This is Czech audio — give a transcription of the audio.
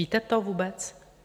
Víte to vůbec?